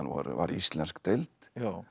var íslensk deild